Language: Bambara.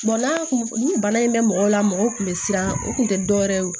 n'a kun ni bana in bɛ mɔgɔw la mɔgɔw kun bɛ siran o kun tɛ dɔ wɛrɛ ye